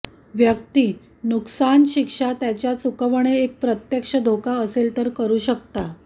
व्यक्ती नुकसान शिक्षा त्याच्या चुकवणे एक प्रत्यक्ष धोका असेल तर करू शकता